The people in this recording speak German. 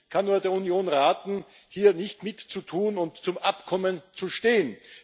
Ich kann der Union nur raten, hier nicht mitzutun und zum Abkommen zu stehen.